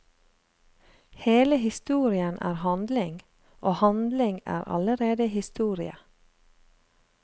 Hele historien er handling, og handling er allerede historie.